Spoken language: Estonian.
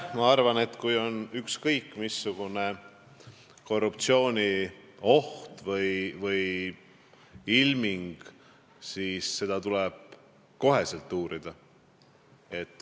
Ma arvan, et kui on ükskõik missugune korruptsioonioht või -ilming, siis tuleb seda kohe uurida.